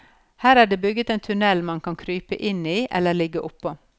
Her er det bygget en tunnel man kan krype inn i eller ligge oppå.